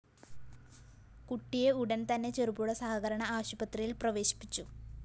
കുട്ടിയെ ഉടന്‍ തന്നെ ചെറുപുഴ സഹകരണ ആശുപത്രിയില്‍ പ്രവേശിപ്പിച്ചു